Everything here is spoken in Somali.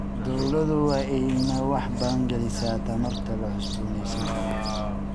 Dawladdu waa inay wax badan gelisaa tamarta la cusboonaysiin karo.